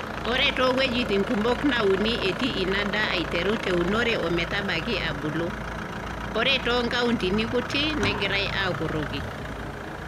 Ore too wuejitin kumok nauni etii ina daa aiteru te unore o metabaiki abulu, ore too nkauntini kutik, negirai aa kurroki.